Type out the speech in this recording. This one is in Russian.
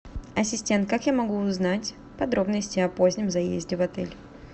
ассистент как я могу узнать подробности о позднем заезде в отель